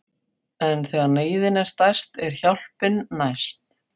En þegar neyðin er stærst er hjálpin næst.